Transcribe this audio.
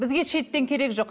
бізге шеттен керегі жоқ